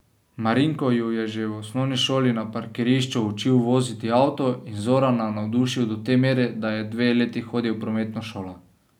Marinko ju je že v osnovni šoli na parkirišču učil voziti avto in Zorana navdušil do te mere, da je dve leti hodil v prometno šolo.